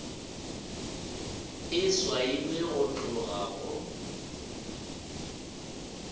e swailwe go tloga go